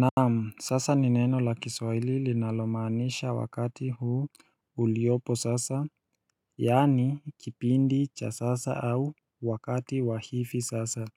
Naam sasa ni neno la kiswaili linalomaanisha wakati huu uliopo sasa Yaani kipindi cha sasa au wakati wa hifi sasa